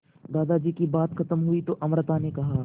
दादाजी की बात खत्म हुई तो अमृता ने कहा